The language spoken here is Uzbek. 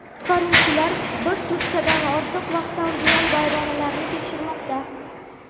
Qutqaruvchilar bir sutkadan ortiq vaqtdan buyon vayronalarni tekshirmoqda.